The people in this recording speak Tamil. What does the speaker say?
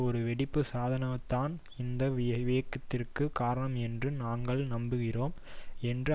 ஒரு வெடிப்பு சாதனம்தான் இந்த விபத்திற்கு காரணம் என்று நாங்கள் நம்புகிறோம் என்று